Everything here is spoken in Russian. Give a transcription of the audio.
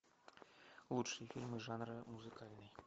лучшие фильмы жанра музыкальный